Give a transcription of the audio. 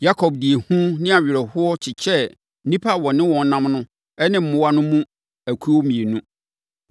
Yakob de ehu ne awerɛhoɔ kyekyɛɛ nnipa a ɔne wɔn nam no ne mmoa no mu akuo mmienu.